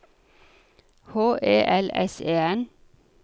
H E L S E N